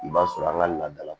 I b'a sɔrɔ an ka laada la